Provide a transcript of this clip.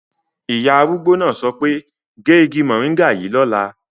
Ìyá arúgbó náà sọ pé "gé igi mòríngà yìí lọ́la"